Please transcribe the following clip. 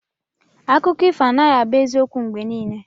Akụkọ ifo anaghị abụ eziokwu mgbe niile.